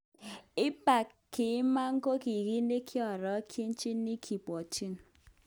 Abak kiman ko kit nekiorogenjin, kibwotyin.